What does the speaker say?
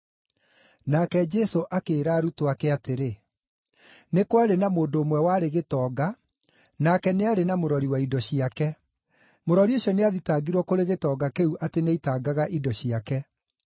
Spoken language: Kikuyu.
Nake Jesũ akĩĩra arutwo ake atĩrĩ: “Nĩ kwarĩ na mũndũ ũmwe warĩ gĩtonga, nake nĩ aarĩ na mũrori wa indo ciake mũrori ũcio nĩathitangirwo kũrĩ gĩtonga kĩu atĩ nĩaitangaga indo ciake.